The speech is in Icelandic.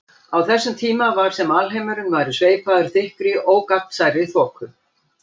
Á þessum tíma var sem alheimurinn væri sveipaður þykkri ógagnsærri þoku.